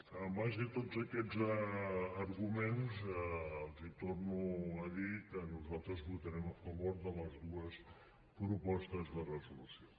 en base a tots aquests arguments els torno a dir que nosaltres votarem a favor de les dues propostes de resolució